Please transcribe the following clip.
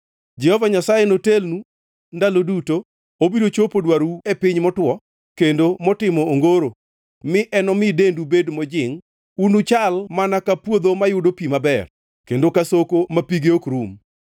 Jehova Nyasaye notelnu ndalo duto, obiro chopo dwarou e piny motwo, kendo motimo ongoro mi enomi dendu bed mojingʼ. Unuchal mana ka puodho mayudo pi maber, kendo ka soko ma pige ok rum.